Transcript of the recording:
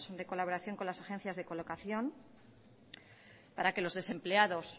de colaboración con las agencias de colocación para que los desempleados